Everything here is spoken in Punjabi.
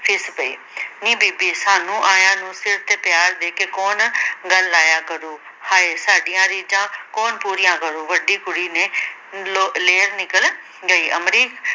ਫਿੱਸ ਪਈ ਨੀ ਬੀਬੀ ਸਾਨੂੰ ਆਇਆਂ ਨੂੰ ਸਿਰ ਤੇ ਪਿਆਰ ਦੇ ਕੇ ਕੌਣ ਗੱਲ ਲਾਇਆ ਕਰੂ ਹਾਏ ਸਾਡੀਆਂ ਰੀਝਾਂ ਕੌਣ ਪੂਰੀਆਂ ਕਰੂ ਵੱਡੀ ਕੁੜੀ ਨੇ ਲੋ ਲੇਰ ਨਿਕਲ ਗਈ ਅਮਰੀਕ